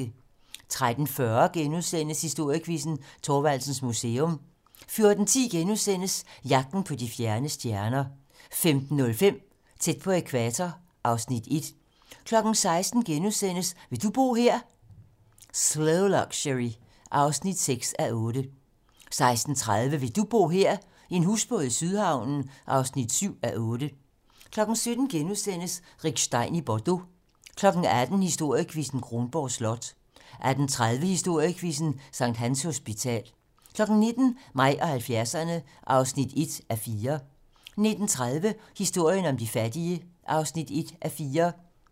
13:40: Historiequizzen: Thorvaldsens Museum * 14:10: Jagten på de fjerne stjerner * 15:05: Tæt på ækvator (Afs. 1) 16:00: Vil du bo her? - Slow Luxury (6:8)* 16:30: Vil du bo her? - En husbåd i Sydhavnen (7:8) 17:00: Rick Stein i Bordeaux * 18:00: Historiequizzen: Kronborg Slot 18:30: Historiequizzen: Sct. Hans Hospital 19:00: Mig og 70'erne (1:4) 19:30: Historien om de fattige (1:4)